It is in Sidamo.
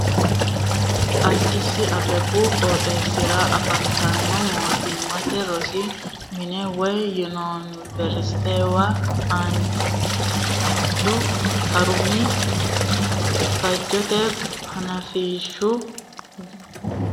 Addis Abbebu qooxeesira affantano mootimmate rosi mina woyi yuniveristuwa haanju harumi latishshi loonse wore sa'nanni gara faajete hanafisiisu yittano sokka xawishshunni sayinsonni.